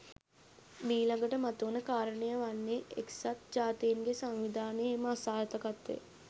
මීළඟට මතුවන කාරණය වන්නේ එකසත් ජාතීන්ගේ සංවිධානයේ එම අසාර්ථකත්වය